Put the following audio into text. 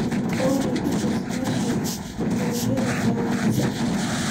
olly i tus meesha aan ka heli karo pizza